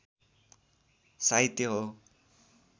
साहित्य हो